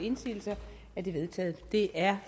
at det er